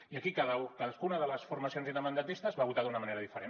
i aquí cadascuna de les formacions independentistes va votar d’una manera diferent